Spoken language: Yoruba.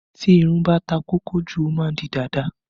Tí irun bá ta kókó jù, ó má ń di dàda